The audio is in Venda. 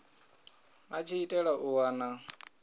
a tshi itela u wana